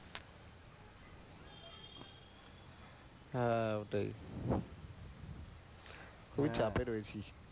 হ্যাঁ, ওটাই। চাপে রয়েছি।